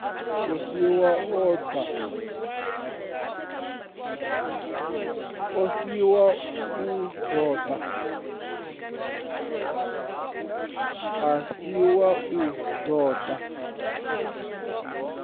a si wa u toda